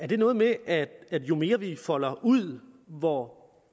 det noget med at jo mere vi folder ud hvor